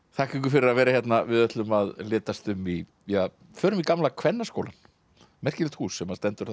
þakka ykkur fyrir að vera hérna við ætlum að litast um í förum í gamla Kvennaskólann merkilegt hús sem stendur